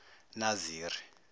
naziri